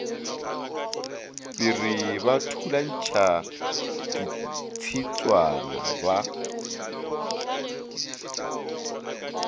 piri ba thulantšha ditshitswana ba